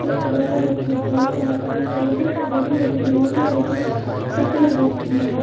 एक लाल रंग की गाड़ी आ रही है यहां पर बड़ी-बड़ी बिल्डिंग्स हैं जो सफेद रंग की हैं।